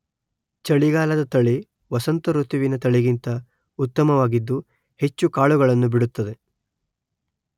ಚಳಿಗಾಲದ ತಳಿ ವಸಂತ ಋತುವಿನ ತಳಿಗಿಂತ ಉತ್ತಮವಾಗಿದ್ದು ಹೆಚ್ಚು ಕಾಳುಗಳನ್ನು ಬಿಡುತ್ತದೆ